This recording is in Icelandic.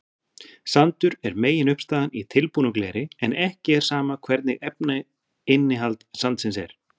Sandur er meginuppistaðan í tilbúnu gleri en ekki er sama hvernig efnainnihald sandsins er.